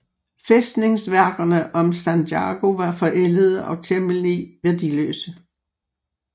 Fæstningsværkerne om Sanjago var forældede og temmelig værdiløse